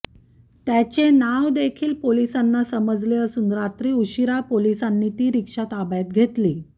त्याचे नाव देखील पोलिसांना समजले असून रात्री उशीरा पोलिसांनी ती रिक्षा ताब्यात घेतली